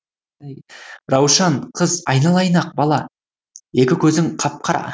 раушан қыз айналайын ақ бала екі көзің қап қара